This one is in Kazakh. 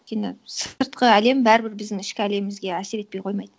өйткені сыртқы әлем бәрібір біздің ішкі әлемімізге әсер етпей қоймайды